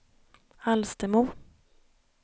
Alstermo